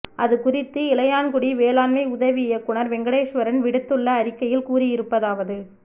அதுகுறித்து இளையான்குடி வேளாண்மை உதவி இயக்குனர் வெங்கடேஸ்வரன் விடுத்துள்ள அறிக்கையில் கூறியிருப்பதாவது